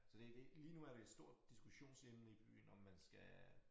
Så det det lige nu er det et stort diskussionsemne i byen om man skal